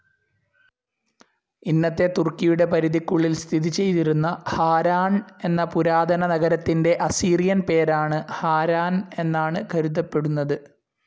ഇന്നത്തെ തുർക്കിയുടെ പരിധിക്കുള്ളിൽ സ്ഥിതിചെയ്തിരുന്ന ഹാരാൺ എന്ന പുരാതനനഗരത്തിൻ്റെ അസീറിയൻ പേരാണ് ഹാരാൻ എന്നാണ് കരുതപ്പെടുന്നത്.